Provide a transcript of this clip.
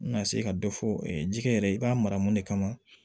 N ka se ka dɔ fɔ ji kɛ yɛrɛ i b'a mara mun de kama